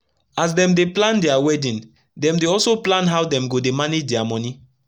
as dem dey plan dia wedding dem dey also plan how dem go dey manage dia moni